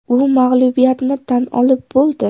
U mag‘lubiyatini tan olib bo‘ldi.